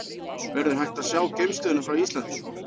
Verður hægt að sjá geimstöðina frá Íslandi?